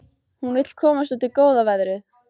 Hún vill komast út í góða veðrið.